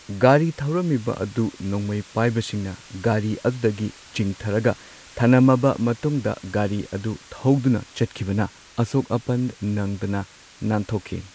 ꯒꯥꯔꯤ ꯊꯧꯔꯝꯃꯤꯕ ꯑꯗꯨ ꯅꯣꯡꯃꯩ ꯄꯥꯢꯕꯁꯤꯡꯅ ꯒꯥꯔꯤ ꯑꯗꯨꯗꯒꯤ ꯆꯤꯡꯊꯔꯒ ꯊꯅꯝꯃꯕ ꯃꯇꯨꯡꯗ ꯒꯥꯔꯤ ꯑꯗꯨ ꯊꯧꯗꯨꯅ ꯆꯠꯈꯤꯕꯅ ꯑꯁꯣꯛ ꯑꯄꯟ ꯅꯪꯗꯅ ꯅꯥꯟꯊꯣꯛꯈꯤ꯫